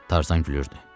Tarzan gülürdü.